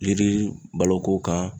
Yiri baloko kan